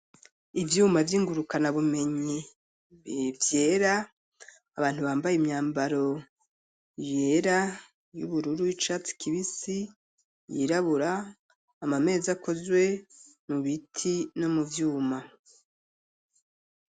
Ivyuma vy'ingurukanabumenyi, vyera, abantu bambaye imyambaro yera, y'ubururu, y'icatsi kibisi, yirabura; amameza, akozwe mu biti, no mu vyuma.